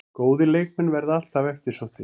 Góðir leikmenn verða alltaf eftirsóttir